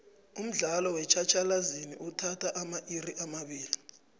umdlalo wetjhatjhalazi uthatha amairi amabili